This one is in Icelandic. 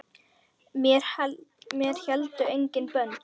Mér héldu engin bönd.